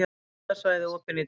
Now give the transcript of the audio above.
Skíðasvæði opin í dag